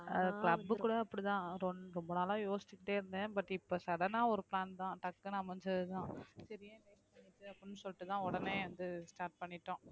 ஆஹ் club கூட அப்படித்தான் ரொம்~ ரொம்ப நாளா யோசிச்சுக்கிட்டே இருந்தேன் but இப்ப sudden ஆ ஒரு plan தான் டக்குன்னு அமைஞ்சதுதான் சரி ஏன் wait பண்ணிக்கிட்டு அப்படின்னு சொல்லிட்டுதான் உடனே வந்து start பண்ணிட்டோம்